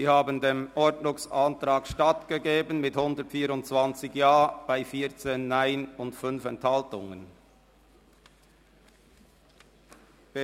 Sie haben dem Ordnungsantrag mit 124 Ja bei 14 Nein und 5 Enthaltungen stattgegeben.